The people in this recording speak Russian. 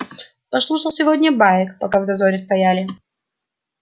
послушал сегодня баек пока в дозоре стояли